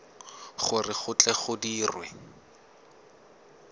gore go tle go dirwe